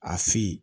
A fin